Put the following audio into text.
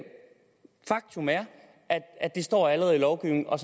at det står allerede i lovgivningen og